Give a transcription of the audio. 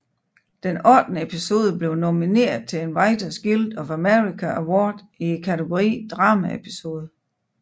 Den ottende episode blev nomineret til en Writers Guild of America Award i kategorien Dramaepisode